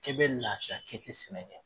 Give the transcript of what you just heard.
K'e bɛ lafiya kɛ, i be sɛnɛ kɛ